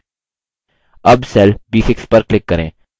अब cell b6 पर click करें